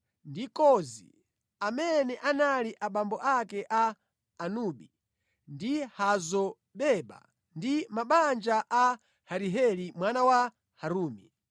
ndi Kozi, amene anali abambo ake a Anubi ndi Hazo-Beba ndi mabanja a Ahariheli mwana wa Harumi.